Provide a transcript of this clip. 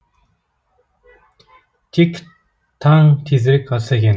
тек таң тезірек атса екен